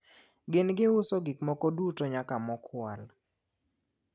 gin giuso gikmoko duto nyaka mokwal